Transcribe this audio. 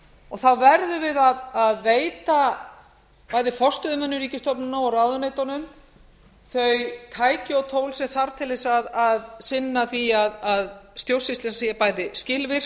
og þá verðum við að veita bæði forstöðumönnum ríkisstofnana og ráðuneytunum þau tæki og tól sem þarf til þess að sinna því að stjórnsýslan sé bæði skilvirk